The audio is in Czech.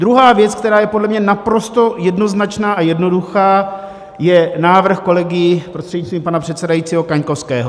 Druhá věc, která je podle mě naprosto jednoznačná a jednoduchá, je návrh kolegy, prostřednictvím pana předsedajícího, Kaňkovského.